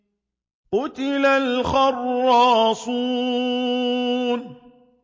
قُتِلَ الْخَرَّاصُونَ